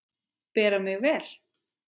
Bera mig vel?